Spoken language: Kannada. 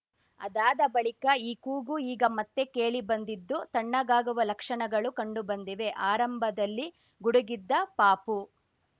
ಅದಾದ ಬಳಿಕ ಈ ಕೂಗು ಈಗ ಮತ್ತೆ ಕೇಳಿಬಂದಿದ್ದು ತಣ್ಣಗಾಗುವ ಲಕ್ಷಣಗಳು ಕಂಡುಬಂದಿವೆ ಆರಂಭದಲ್ಲಿ ಗುಡುಗಿದ್ದ ಪಾಪು